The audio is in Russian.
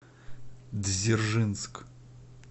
дзержинск